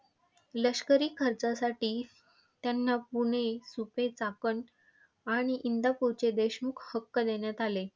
लष्करी खर्चासाठी त्यांना पुणे, सुपे, चाकण आणि इंदापूरचे देशमुख हक्क देण्यात आले.